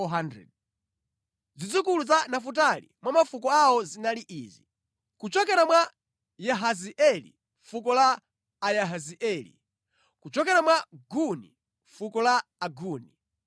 Zidzukulu za Nafutali mwa mafuko awo zinali izi: kuchokera mwa Yahazeeli, fuko la Ayahazeeli; kuchokera mwa Guni, fuko la Aguni;